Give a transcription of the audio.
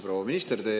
Proua minister!